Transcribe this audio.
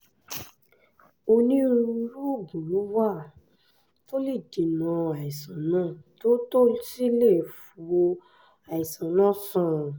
onírúurú oògùn ló wà tó lè dènà àìsàn náà tó tó sì lè wo àìsàn náà sàn